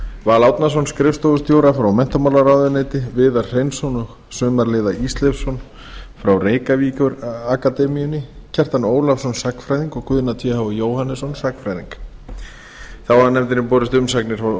val árnason skrifstofustjóra frá menntamálaráðuneyti viðar hreinsson og sumarliða ísleifsson frá reykjavíkurakademíunni kjartan ólafsson sagnfræðing og guðna th jóhannesson sagnfræðing þá hafa nefndinni borist umsagnir